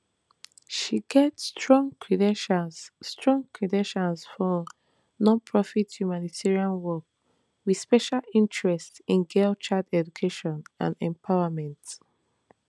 she get strong credentials strong credentials for nonprofit humanitarian work wit special interest in girl child education and empowerment